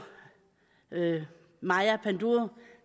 maja panduro